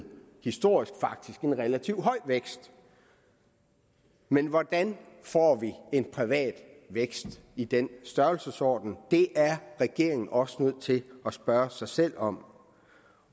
historisk sammenligning faktisk en relativt høj vækst men hvordan får vi en privat vækst i den størrelsesorden det er regeringen også nødt til at spørge sig selv om